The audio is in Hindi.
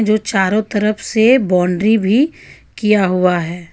जो चारो तरफ़ से बॉउंड्री भी किया हुआ है.